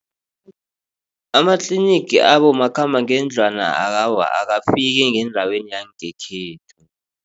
Amatlinigi abomakhambangendlwana awa awafiki ngeendaweni yangekhethu.